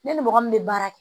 Ne ni mɔgɔ min bɛ baara kɛ